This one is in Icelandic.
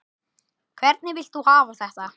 Hvernig vilt þú hafa þetta?